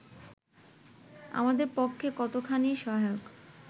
আমাদের পক্ষে কতোখানি সহায়ক